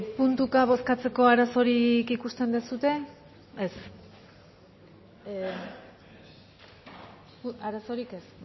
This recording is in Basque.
puntuka bozkatzeko arazorik ikusten duzue ez arazorik ez